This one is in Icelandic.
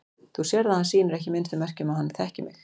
Þú sérð að hann sýnir ekki minnstu merki um að hann þekki mig.